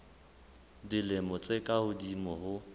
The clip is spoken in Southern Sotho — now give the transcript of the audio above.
dilemo tse ka hodimo ho